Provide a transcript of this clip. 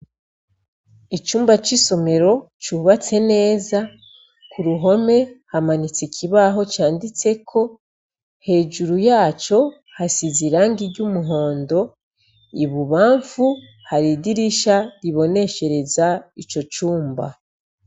Icumba c'isomero cubatse neza ku ruhome hamanitse ikibaho canditse ko hejuru yaco hasize iranga ry' umuhondo ibubamfu hari idirisha riboneshereza ico cumba.